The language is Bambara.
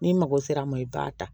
N'i mago sera a ma i b'a ta